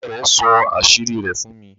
òré rẹ sọ àṣírí rẹ̀ fún mi.